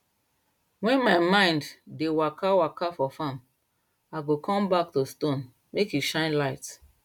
when my mind dey waka waka for farm i go come back to stone make e shine light